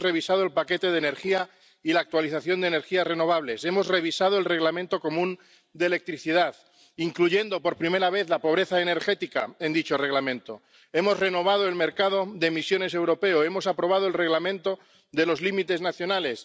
Hemos revisado el paquete de energía y la actualización de energías renovables. Hemos revisado el Reglamento común de electricidad, incluyendo por primera vez la pobreza energética en dicho Reglamento. Hemos renovado el mercado de emisiones europeo. Hemos aprobado el Reglamento de los límites nacionales.